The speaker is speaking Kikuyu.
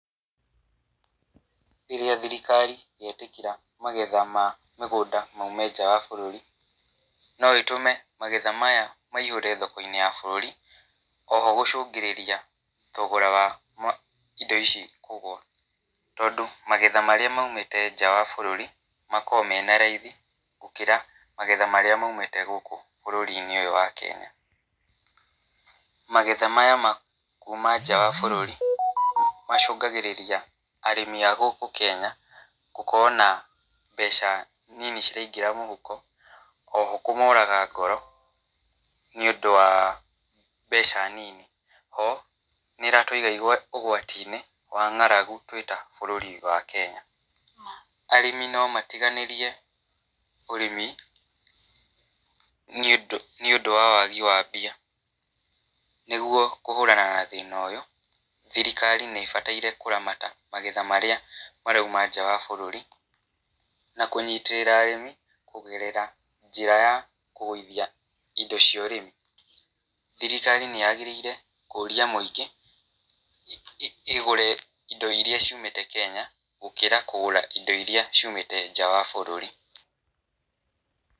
Rĩrĩa thirikari yetĩkĩra magetha ma mĩgũnda maume nja wa bũrũri, no ĩtũme magetha maya maihũre thoko-inĩ ya bũrũri, oho gũcũngĩrĩria thogora wa indo ici kũgũa. Tondũ magetha marĩa maumĩte nja wa bũrũri, makoro mena raithi gũkĩra magetha marĩa maumĩte gũkũ bũrũri-inĩ ũyũ wa Kenya. Magetha maya ma kuuma nja wa bũrũri, macũngagĩrĩria arĩmi a gũkũ Kenya, gũkorwo na mbeca nini ciraingĩra mũhuko, oho kũmoraga ngoro, nĩ ũndũ wa mbeca nini. Ho, nĩ ĩratuiga ũgwati-inĩ wa ng'aragu twĩ ta bũrũri wa Kenya. Arĩmi no matiganĩrie ũrĩmi, nĩ ũndũ nĩ ũndũ wa wagi wa mbia. Nĩguo kũhũrana na thĩna ũyũ, thirikari nĩ ĩbataire kũramata magetha marĩa marauma nja wa bũrũri, na kũnyitĩrĩra arĩmi, kũgerera njĩra ya kũgũithia indo cia ũrĩmi. Thirikari nĩ yagĩrĩre kũrĩa mũingĩ, igũre indo irĩa ciumĩte Kenya, gũkĩra kũgũra indo irĩa ciumĩte nja wa bũrũri.